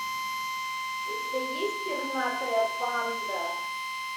у тебя есть пернатая банда